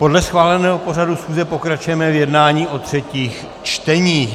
Podle schváleného pořadu schůze pokračujeme v jednání o třetích čteních.